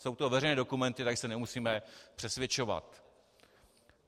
Jsou to veřejné dokumenty, takže se nemusíme přesvědčovat.